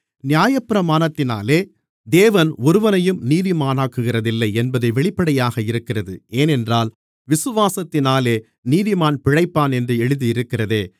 நியாயப்பிரமாணத்தினாலே தேவன் ஒருவனையும் நீதிமானாக்குகிறதில்லை என்பது வெளிப்படையாக இருக்கிறது ஏனென்றால் விசுவாசத்தினாலே நீதிமான் பிழைப்பான் என்று எழுதியிருக்கிறதே